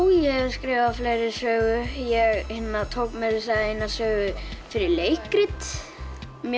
ég hef skrifað fleiri sögur ég tók meira að segja eina sögu fyrir leikrit mér